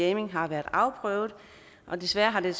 jamming har været afprøvet men desværre har det